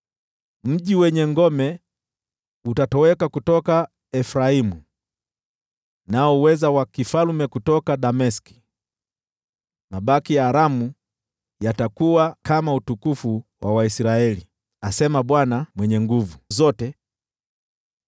Mji wenye ngome utatoweka kutoka Efraimu, nao uweza wa ufalme kutoka Dameski; mabaki ya Aramu yatakuwa kama utukufu wa Waisraeli,” asema Bwana Mwenye Nguvu Zote.